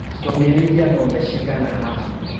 Tũngĩrĩithia ngombe cigana haha.